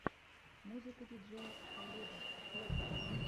музыка диджея кхаледа вево